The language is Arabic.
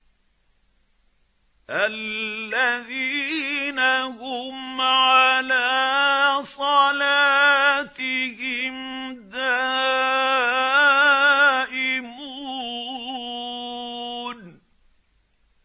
الَّذِينَ هُمْ عَلَىٰ صَلَاتِهِمْ دَائِمُونَ